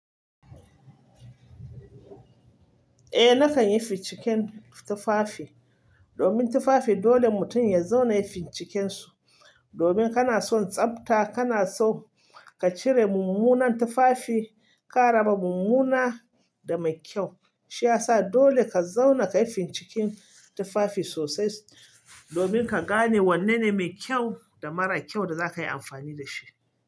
Eh nakan yi ficiken tufafi domin tufafi dole mutum ya zauna ya yi ficiken su. Domin kana son tsabta kana so ka cire mummunan tufafi, ka raba mummuna da mai kyau. Shi ya sa dole ka zauna ka yi finciken tufafi sosai domin ka gane wanne ne mai kyau da mara kyau da za ka yi amfani da shi.